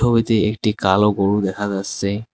ছবিতে একটি কালো গরু দেখা যাচ্ছে।